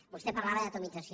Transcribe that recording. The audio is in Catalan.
vostè parlava d’atomització